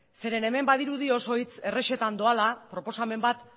zeren hemen badirudi oso hitz errezetan doala proposamen bat